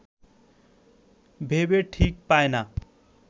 ভেবে ঠিক পায় না